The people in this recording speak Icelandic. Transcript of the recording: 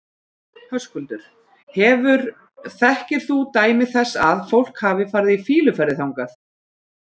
Höskuldur: Hefur, þekkir þú dæmi þess að, að fólk hafi farið í fýluferðir þangað?